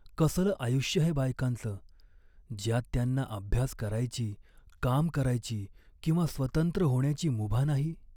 कसलं आयुष्य हे बायकांचं, ज्यात त्यांना अभ्यास करायची, काम करायची किंवा स्वतंत्र होण्याची मुभा नाही?